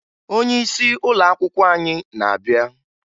Onyeisi ụlọakwụkwọ anyị na-abịa